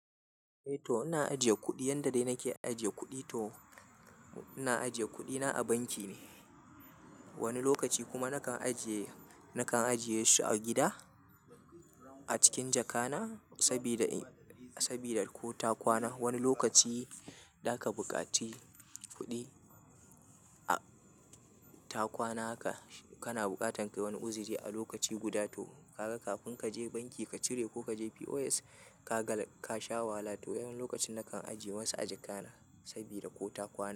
Eh to ina ajiye kuɗi, yan da dai nake ajiye kuɗi to ina ajiye kuɗi na a banki ne. Wani lokaci kuma nakan ajiye, nakan ajiye su a gida a cikin jaka na sabida, sabida ko ta kwana. Wani lokaci da ka buƙaci kuɗi a, ta kwana haka kana bukatan kai wani uzuri a lokaci guda to kaga kafin kaje banki ka cire ko kaje POS ka sha wala. To wani lokacin nakan ajiye wasu a jaka na sabida ko ta kwana.